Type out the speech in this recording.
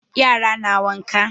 Yara na waƙa.